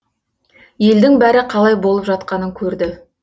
елдің бәрі қалай болып жатқанын көрді